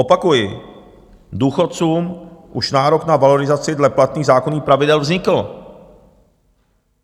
Opakuji, důchodcům už nárok na valorizaci dle platných zákonných pravidel vznikl.